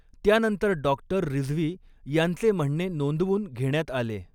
त्यानंतर डॉक्टर रिझवी यांचे म्हणणे नोंदवून घेण्यात आले.